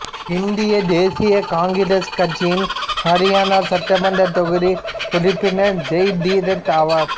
இந்திய தேசிய காங்கிரஸ் கட்சியின் ஹரியானா சட்டமன்ற தொகுதி உறுப்பினர் ஜெய் தீரத் ஆவார்